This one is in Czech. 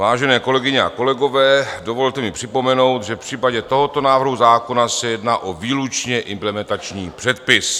Vážené kolegyně a kolegové, dovolte mi připomenout, že v případě tohoto návrhu zákona se jedná o výlučně implementační předpis.